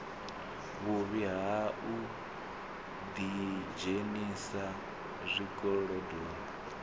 vhuvhi ha u ḓidzhenisa zwikolodoni